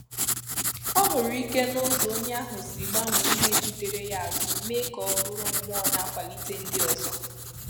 Ọ hụrụ ike n’ụzọ onye ahụ si gbanwee ihe jidere ya azụ mee ka ọ bụrụ mmụọ na-akwalite ndị ọzọ